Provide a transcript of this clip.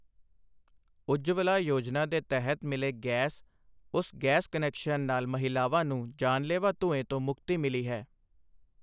ਉੱਜਵਲਾ ਯੋਜਨਾ ਦੇ ਤਹਿਤ ਮਿਲੇ ਗੈਸ, ਉਸ ਗੈਸ ਕਨੈਕਸ਼ਨ ਨਾਲ ਮਹਿਲਾਵਾਂ ਨੂੰ ਜਾਨਲੇਵਾ ਧੂੰਏ ਤੋਂ ਮੁਕਤੀ ਮਿਲੀ ਹੈ।